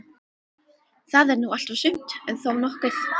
Það er nú allt og sumt, en þó nokkuð.